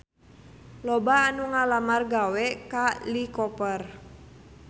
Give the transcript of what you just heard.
Loba anu ngalamar gawe ka Lee Cooper